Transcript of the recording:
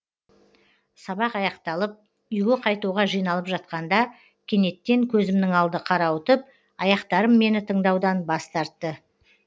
сабақ аяқталып үйге қайтуға жиналып жатқанда кенеттен көзімнің алды қарауытып аяқтарым мені тыңдаудан бас тартты